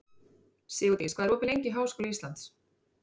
Sigurdís, hvað er opið lengi í Háskóla Íslands?